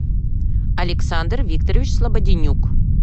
александр викторович слободенюк